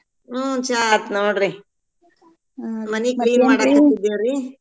ಹ್ಮ್‌ ಚಾ ಆತ್ ನೋಡ್ರಿ.